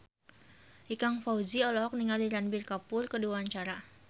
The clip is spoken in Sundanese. Ikang Fawzi olohok ningali Ranbir Kapoor keur diwawancara